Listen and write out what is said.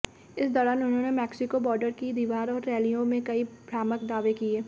इस दौरान उन्होंने मैक्सिको बॉर्डर की दीवार और रैलियों में कई भ्रामक दावे किए